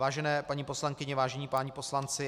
Vážené paní poslankyně, vážení páni poslanci.